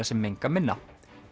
sem menga minna